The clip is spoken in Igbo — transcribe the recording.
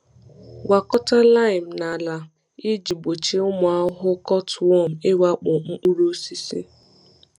Gwakọta lime na ala iji gbochie ụmụ ahụhụ cutworm ịwakpo mkpụrụ osisi.